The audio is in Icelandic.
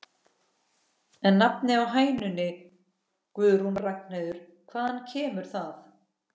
En nafnið á hænunni Guðrún Ragnheiður, hvaðan kemur það?